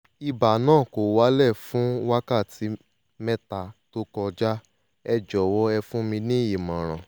ibà náà kò wálẹ̀ fún wákàtí mẹ́ta tó kọjá ẹ jọ̀wọ́ ẹ fún mi ní ìmọ̀ràn